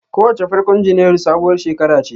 Kowace farkon Janairu sabuwar shekara ce.